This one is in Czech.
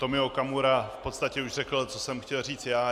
Tomio Okamura v podstatě už řekl, co jsem chtěl říct já.